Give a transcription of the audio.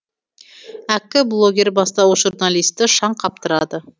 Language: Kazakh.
әккі блогер бастауыш журналистті шаң қаптырады